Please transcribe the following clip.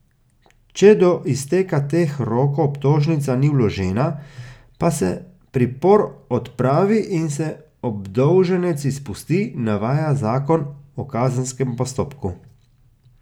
Če do izteka teh rokov obtožnica ni vložena, pa se pripor odpravi in se obdolženec izpusti, navaja zakon o kazenskem postopku.